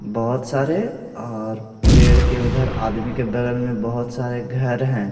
बहुत सारे और पेड़ के उधर आदमी के बगल में बहुत सारे घर हैं।